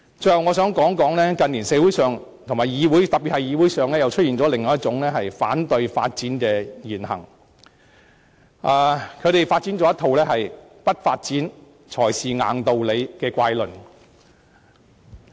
最後，我想指出，近年社會上特別是議會裏，出現了另一種反對發展的言行，提出一套"不發展才是硬道理"的怪論。